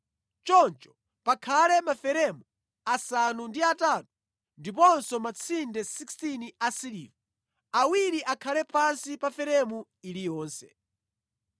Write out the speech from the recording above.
Choncho pakhale maferemu asanu ndi atatu ndiponso matsinde 16 asiliva, awiri akhale pansi pa feremu iliyonse.